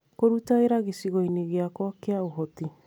Kũruta wĩra gĩcigo-inĩ gĩakwa kĩa ũhoti